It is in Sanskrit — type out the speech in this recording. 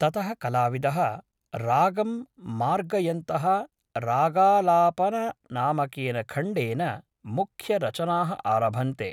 ततः कलाविदः रागं मार्गयन्तः रागालापननामकेन खण्डेन मुख्यरचनाः आरभन्ते।